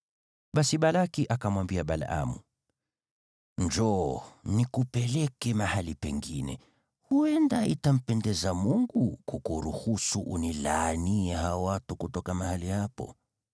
Basi Balaki akamwambia Balaamu, “Njoo, nikupeleke mahali pengine. Huenda itampendeza Mungu kukuruhusu unilaanie hao watu kutoka mahali hapo.”